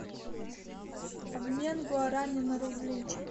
обмен гуарани на рубли